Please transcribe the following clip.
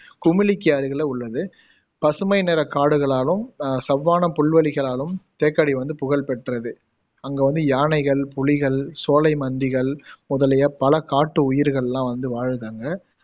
குமிலிக்கு அருகில உள்ளது பசுமை நிற காடுகளாலும் அஹ் சவ்வானா புல்வெளிகளாலும் தேக்கடி வந்து புகழ் பெற்றது அங்க வந்து யானைகள், புலிகள், சோலை மந்திகள் முதலிய பல காட்டு உயிரிகள்லாம் வந்து வாழுது அங்க